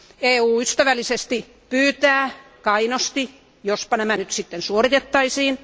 EU ystävällisesti pyytää kainosti, että jospa nämä nyt sitten suoritettaisiin.